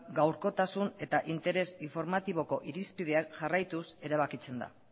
gaurkotasun eta interes informatiboko irizpideak jarraituz erabakitzen da